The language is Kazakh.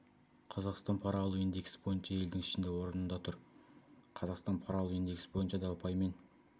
қазақстан пара алу индексі бойынша елдің ішінде орында тұр қазақстан пара алу индексі бойынша да ұпаймен